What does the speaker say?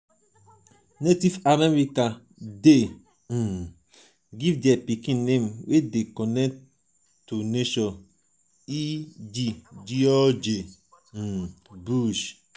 native american de um give their pikin name wey de connected to nature e.g. george um bush